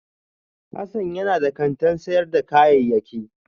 Hassan yana da kantin sayar da kayayyaki